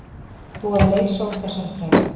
Búið að leysa úr þessari þrætu